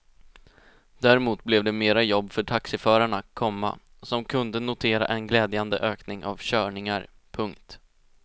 Däremot blev det mera jobb för taxiförarna, komma som kunde notera en glädjande ökning av körningar. punkt